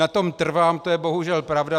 Na tom trvám, to je bohužel pravda.